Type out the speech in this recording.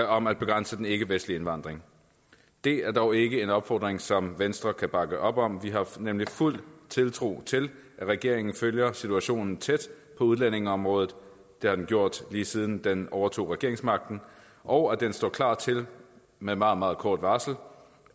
om at begrænse den ikkevestlige indvandring det er dog ikke en opfordring som venstre kan bakke op om vi har nemlig fuld tiltro til at regeringen følger situationen tæt på udlændingeområdet det har den gjort lige siden den overtog regeringsmagten og at den står klar til med meget meget kort varsel